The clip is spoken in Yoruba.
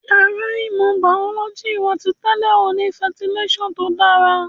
Yàrá ìmọ̀ bàọ́lọ́jì wa ti tẹ́lẹ̀ ò ní fẹntilásàn tó dára